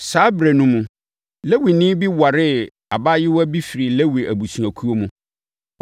Saa ɛberɛ no mu, Lewini bi waree abaayewa bi firii Lewi abusuakuo mu.